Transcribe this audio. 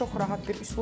çox rahat bir üslubdur.